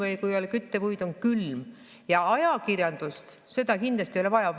Ajakirjandust kindlasti vaja ei ole.